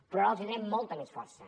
però ara els donem molta més força